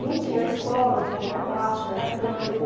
Não tinha a escola que tem lá embaixo, era campo.